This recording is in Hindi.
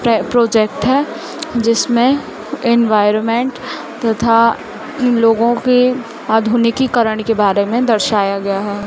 परे प्रोजेक्ट है जिसमें एनवायरमेंट तथा इन लोगों के आधुनिकीकरण के बारे में दर्शाया गया है।